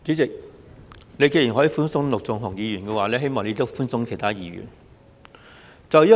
主席，你既然可以對陸頌雄議員寬鬆，希望你也對其他議員寬鬆。